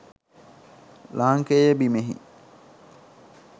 ලාංකේය බිමෙහි